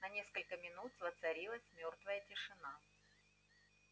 на несколько минут воцарилась мёртвая тишина